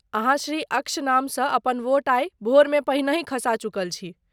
अहाँ श्री अक्ष नामसँ अपन वोट आइ भोरमे पहिनहि खसा चुकल छी।